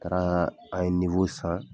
Taara an ye san.